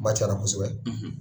Kuma cayla kosɛbɛ.,